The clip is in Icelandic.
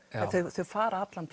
þau fara allan